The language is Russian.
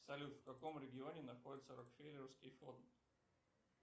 салют в каком регионе находится рокфеллеровский фонд